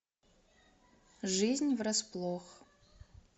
жизнь врасплох